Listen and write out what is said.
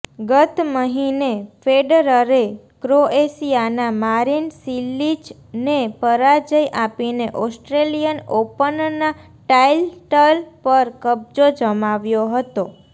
ગત મહિને ફેડરરે ક્રોએશિયાના મારિન સિલિચને પરાજય આપીને ઓસ્ટ્રેલિયન ઓપનના ટાઈટલ પર કબજો જમાવ્યો હતો